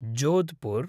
Jodhpur